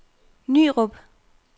Nyrup